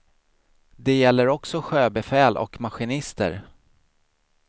Det gäller också sjöbefäl och maskinister.